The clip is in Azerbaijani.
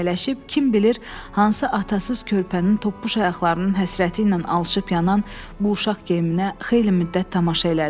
kim bilir hansı atasız körpənin topbuş ayaqlarının həsrətiylə alışıb yanan bu uşaq geyiminə xeyli müddət tamaşa elədi.